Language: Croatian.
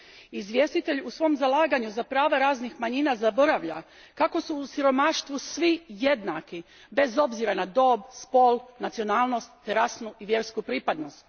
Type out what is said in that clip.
Izvjestitelj u svom zalaganju za prava raznih manjina zaboravlja kako su u siromaštvu svi jednaki, bez obzira na dob, spol, nacionalnost te rasnu i vjersku pripadnost.